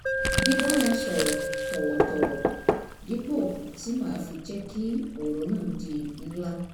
bíbá wọn sọ̀rọ̀ tọ̀wọ̀tọ̀wọ̀ dípò tí màá fi jẹ́ kí ọ̀rọ̀ náà di ńlá